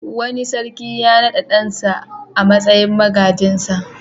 Wani sarki ya naɗa ɗansa a matsayin magajinsa.